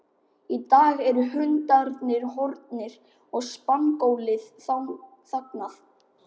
Í dag eru hundarnir horfnir og spangólið þagnað.